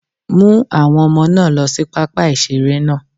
Mú àwọn Ọmọ náà lọ sí pápá ìṣeré náà